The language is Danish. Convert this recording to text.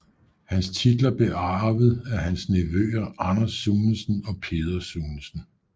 Hans titler blev arvet af hans nevøer Anders Sunesen og Peder Sunesen